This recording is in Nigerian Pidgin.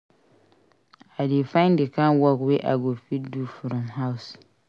I dey find di kain work wey I go fit do from house.